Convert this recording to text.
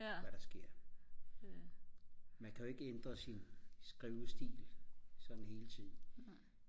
hvad der sker man kan jo ikke ændre sin skrivestil sådan hele tiden